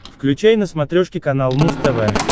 включай на смотрешке канал муз тв